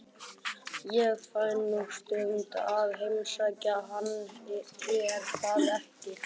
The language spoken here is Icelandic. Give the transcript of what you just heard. Ég fæ nú stundum að heimsækja hann, er það ekki?